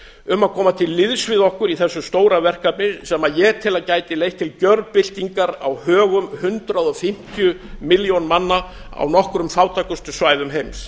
um að koma til liðs við okkur í þessu stóra verkefni sem ég tel að gæti leitt til gjörbyltingar á högum hundrað fimmtíu milljón manna á nokkrum fátækustu svæðum heims